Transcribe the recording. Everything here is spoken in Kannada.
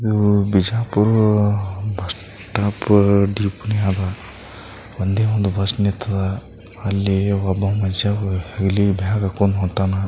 ಇದು ಬಿಜಾಪುರ್ ಬಸ್ ಸ್ಟಾಪ್ ದೀಪನಿ ಅದ ಒಂದೇ ಒಂದು ಬಸ್ ನಿತಾದ ಅಲ್ಲಿ ಒಬ್ಬ ಮಷ್ಯ ಬ್ಯಾಗ್ ಹಾಕೊಂಡ್ ಹೊಂಟಾನ.